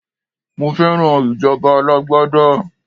Mo fẹ́ràn ìjọba alágbádá.